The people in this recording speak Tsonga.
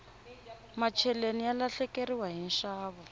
macheleni ya lahlekeriwa hi nxavo